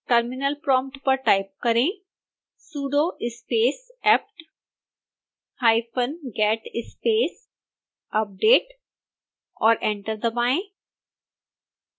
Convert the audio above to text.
terminal prompt पर type करें sudo space aptget space update और एंटर दबाएं